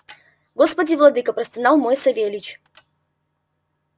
господи владыко простонал мой савельич